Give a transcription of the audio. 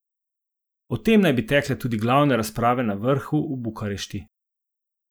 O tem naj bi tekle tudi glavne razprave na vrhu v Bukarešti.